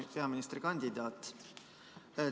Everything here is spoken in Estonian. Hea peaministrikandidaat!